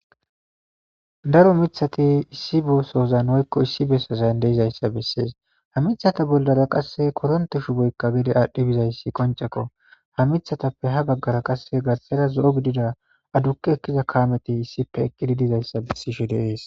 daro mithati issi bo sozan hoykko issi bessazan deizayssa bessees ha mithata boldara qasse koronte shu boykka gede aadhdhi bizayssi qonceko ha mithatappe ha baggara qasse garxera zo7o gidida adukke ekkiza kaameti issipe eqqidi dizayssa bessishe deees